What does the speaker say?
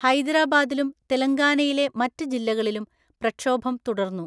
ഹൈദരാബാദിലും തെലങ്കാനയിലെ മറ്റ് ജില്ലകളിലും പ്രക്ഷോഭം തുടർന്നു.